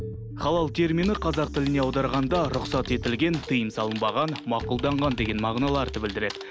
халал термині қазақ тіліне аударғанда рұқсат етілген тыйым салынбаған мақұлданған деген мағыналарды білдіреді